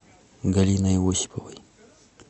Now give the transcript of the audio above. галиной осиповой